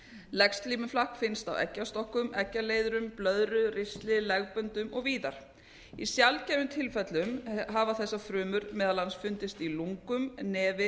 legslímuflakk finnst á eggjastokkum eggjaleiðurum blöðru ristli legböndum og víðar í sjaldgæfum tilfellum hafa þessar frumur meðal annars fundist í lungum nefi